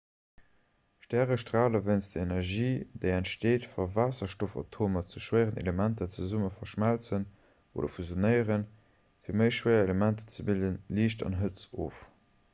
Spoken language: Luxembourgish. stäre strale wéinst der energie déi entsteet wa waasserstoffatomer zu schwéieren elementer zesumme verschmëlzen oder fusionéieren fir méi schwéier elementer ze bilden liicht an hëtzt of